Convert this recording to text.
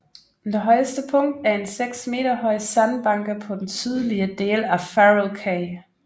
Det højeste punkt er en seks meter høj sandbanke på den sydlige del af Farol Cay